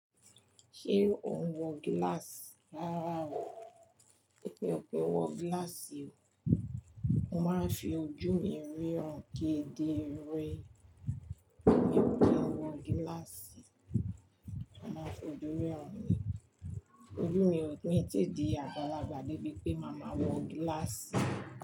Ṣé ò ń wọ gíláàsì rárá o, èmi ò kìń wọ gíláàsì o, mo máa fi ojú mi ríran kedere. Mi o kín wọ gíláàsì, mo máa fi ojú ríran ni. Ojú mi ò ní tí di àgbàlagbà débi pé máa ma wọ gíláàsì.